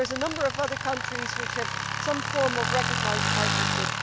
There are a number of other countries which have some form of recognised partnership.